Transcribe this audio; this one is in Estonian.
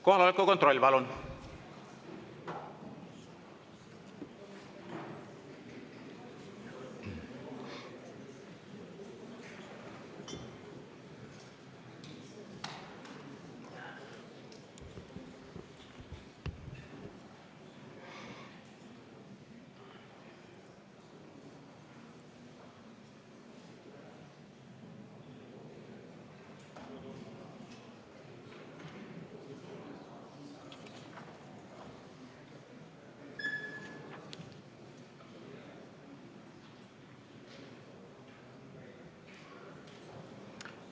Kohaloleku kontroll, palun!